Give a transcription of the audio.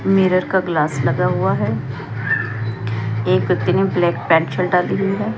Mirror का glass लगा हुआ है एक व्यक्ति ने ब्लैक पैंट शर्ट डाली हुई है।